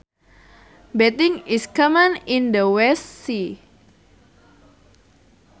Bathing is common in the West Sea